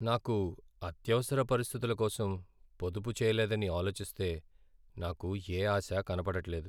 నాకు అత్యవసర పరిస్థితులకోసం పొదుపు చేయలేదని ఆలోచిస్తే నాకు యే ఆశా కనపడట్లేదు.